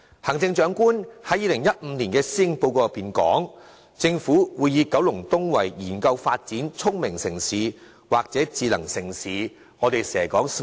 行政長官於2015年的施政報告中提出，政府會研究發展九龍東成為聰明城市或智能城市的可能性。